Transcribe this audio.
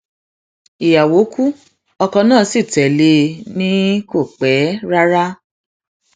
ìyàwó ku ọkọ náà sí tẹlé e ni kò pẹ rárá